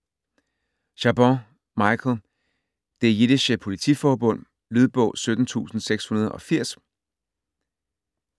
Chabon, Michael: Det jiddische politiforbund Lydbog 17680